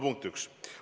Punkt 1.